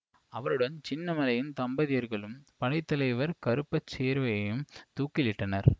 அவருடன் சின்னமலையின் தம்பியர்களும் படை தலைவர் கருப்பசேர்வையையும் தூக்கிலிட்டனர்